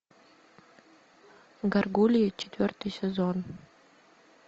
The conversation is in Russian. гаргульи четвертый сезон